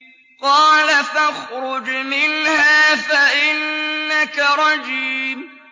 قَالَ فَاخْرُجْ مِنْهَا فَإِنَّكَ رَجِيمٌ